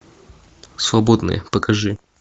свободные покажи